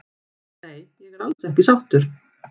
Nei ég er alls ekki sáttur